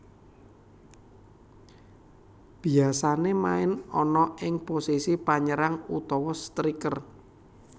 Biasané main ana ing posisi Panyérang utawa striker